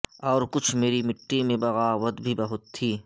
اور کچھ مری مٹی میں بغاوت بھی بہت تھی